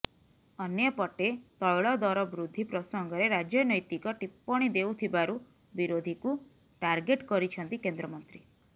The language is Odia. ଅନ୍ୟପଟେ ତୈଳ ଦର ବୃଦ୍ଧି ପ୍ରସଙ୍ଗରେ ରାଜନୈତିକ ଟିପ୍ପଣୀ ଦେଉଥିବାରୁ ବିରୋଧୀକୁ ଟାର୍ଗେଟ କରିଛନ୍ତି କେନ୍ଦ୍ରମନ୍ତ୍ରୀ